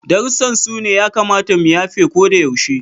Darussan su ne ya kamata mu yafe ko da yaushe.